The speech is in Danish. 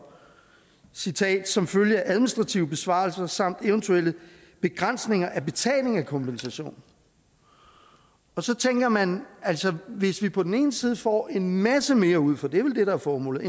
citat som følge af administrative besparelser samt eventuelle begrænsninger af betaling af kompensation så tænker man hvis vi på den ene side får en masse mere ud for det er vel det der er formålet